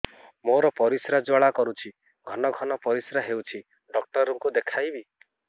ମୋର ପରିଶ୍ରା ଜ୍ୱାଳା କରୁଛି ଘନ ଘନ ପରିଶ୍ରା ହେଉଛି ଡକ୍ଟର କୁ ଦେଖାଇବି